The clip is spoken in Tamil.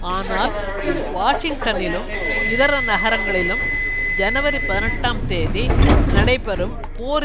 ஆனால் வாஷிங்டனிலும் இதர நகரங்களிலும் ஜனவரி பதினெட்டாம் தேதி நடைபெறும் போர்